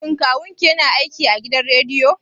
Shin Kawun ki ya na aiki a gidan rediyo?